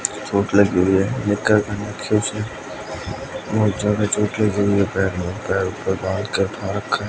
चोट लगी हुई है बोहोत ज्यादा चोट लगी हुई है पैर में पैर --